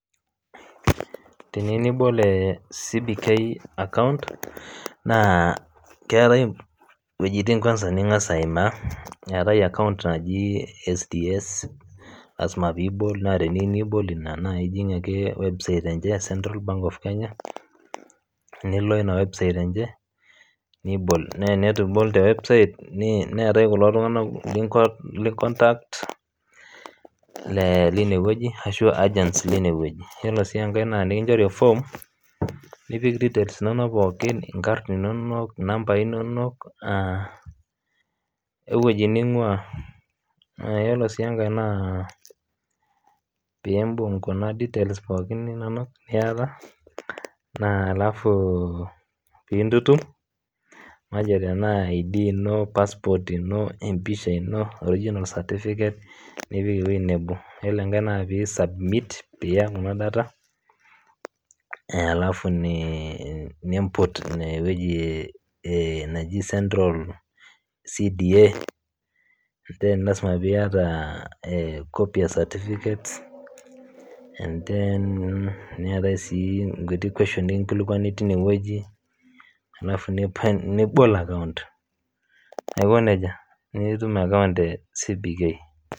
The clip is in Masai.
Teniyeu nibool CBK account naa keatai wejitin kwansa ningas aimaa eatae account najii SDS lasima piibol naa teniyeu nibol inia naa ijing' ake website enche e central bank of kenya nio ina website enche neitu ibol te website neatae kulo tunganak linkontakt le ineweji ashuu agents le ineweji, iyolo sii enkae naa enikinchori eform nipik details inono pookin, inkarn inonok, nambai inonok oo eweji ning'uaa, naa ore sii enkae naa piimbung' kuna details pookin inonok nieta naa alafuu piintutum matejo tenaa ID[cs[ ino, passport ino empisha ino, original certificate nipik eweji nabo, ore enkae naa piisubmit piiya kuna data alafu niimput ineweji nejii central CDA then lasima pieta ecopy e certificate then neatae sii enkutii questioni nikinkilikuani teine weji alafu nipal nibol account aikoneja, nitum account e CBK.